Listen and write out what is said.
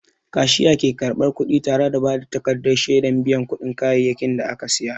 Kashiya ke karɓar kuɗi tare da ba da takardar shaidar biyan kuɗin kayayyakin da aka saya.